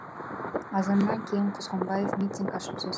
азаннан кейін құзғынбаев митинг ашып сөз